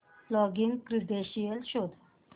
login credentials शोध